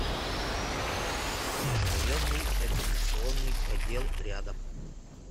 межрайонный экзаменационный отдел рядом